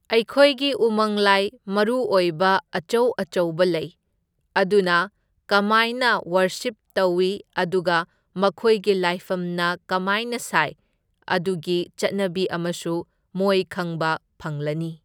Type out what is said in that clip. ꯑꯩꯈꯣꯏꯒꯤ ꯎꯃꯪ ꯂꯥꯏ ꯃꯔꯨꯑꯣꯏꯕ ꯑꯆꯧ ꯑꯆꯧꯕ ꯂꯩ, ꯑꯗꯨꯅ ꯀꯃꯥꯏꯅ ꯋꯔꯁꯤꯞ ꯇꯧꯏ, ꯑꯗꯨꯒ ꯃꯈꯣꯏꯒꯤ ꯂꯥꯏꯐꯝꯅ ꯀꯃꯥꯏꯅ ꯁꯥꯏ, ꯑꯗꯨꯒꯤ ꯆꯠꯅꯕꯤ ꯑꯃꯁꯨ ꯃꯣꯏ ꯈꯪꯕ ꯐꯪꯂꯅꯤ꯫